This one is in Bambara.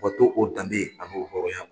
Wa dɔw ko danbe ani b'o hɔrɔnya.